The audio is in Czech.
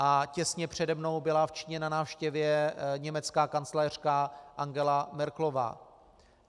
A těsně přede mnou byla v Číně na návštěvě německá kancléřka Angela Merkelová.